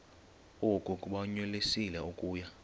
oku bakunyelise okuya